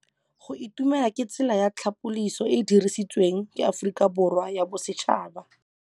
Go itumela ke tsela ya tlhapolisô e e dirisitsweng ke Aforika Borwa ya Bosetšhaba.